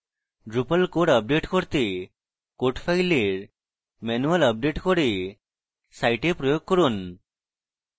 drupal core update করতে code files manual update core site প্রয়োগ করুন